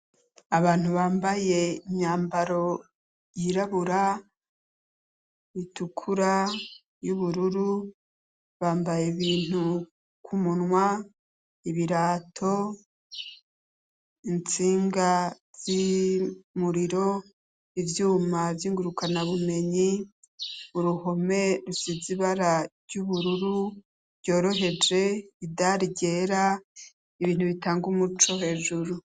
Abantu bambaye imyambaro yirabura, itukura, y'ubururu, bambaye ibintu k'umunwa, ibirato, intsinga z'umuriro, ivyuma vyinguruka na bumenyi, uruhome rusize ibara ry'ubururu ryoroheje, idare ryera, ibintu bitanga umuco hejuru.